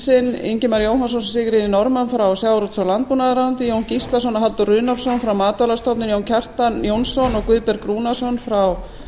sinn ingimar jóhannsson og sigríði norðmann frá sjávarútvegs og landbúnaðarráðuneyti jón gíslason og halldór runólfsson frá matvælastofnun jón kjartan jónsson og guðberg rúnarsson frá